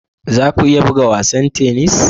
Za ku iya buga wasan tennis?